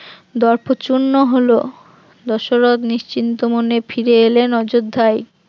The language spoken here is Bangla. দর্প চূর্ণ হল, দশরথ নিশ্চিন্ত মনে ফিরে এলেন অযোধ্যায়